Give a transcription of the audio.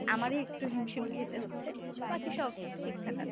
আমারই একটু হিমশিম খেতে হচ্ছে, বাকি সব ঠিকঠাক আছে।